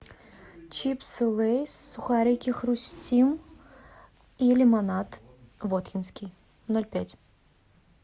чипсы лейс сухарики хрустим и лимонад воткинский ноль пять